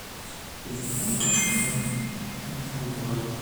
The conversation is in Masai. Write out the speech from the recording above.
Esidano oorpaek oisampuaki